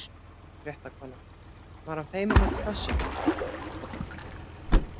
Ónefnd fréttakona: Var hann feiminn út af þessu?